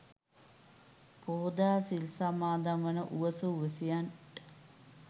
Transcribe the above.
පොහෝදා සිල් සමාදන් වන උවසු උවැසියන්ට